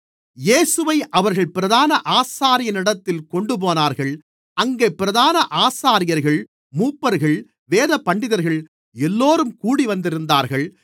இயேசுவை அவர்கள் பிரதான ஆசாரியனிடத்தில் கொண்டுபோனார்கள் அங்கே பிரதான ஆசாரியர்கள் மூப்பர்கள் வேதபண்டிதர்கள் எல்லோரும் கூடிவந்திருந்தார்கள்